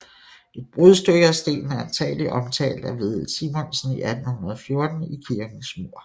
Et brudstykke af stenen er antagelig omtalt af Vedel Simonsen i 1814 i kirkens mur